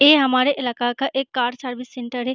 ये हमारे इलाका का एक कार सर्विस सेंटर है।